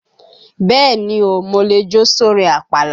Bẹ́ẹ̀ni o, mo lè jó sórin àpàlà.